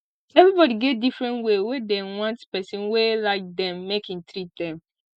everybody get different way wey dem want pesin wey like dem make e treat dem